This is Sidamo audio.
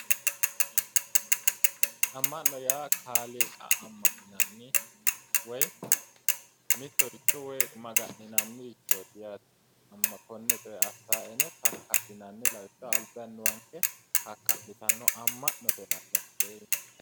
Amma'no yaa kaaliqa amma'ninanni woyi mitticho maga'ninannirichooti yaate amma'note kaka'linanni lawishaho albi annuwanke kaka'litanno, amma'note yinanni hattee.